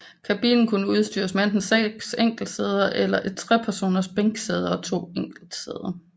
Kabinen kunne udstyres med enten seks enkeltsæder eller et trepersoners bænksæde og to enkeltsæder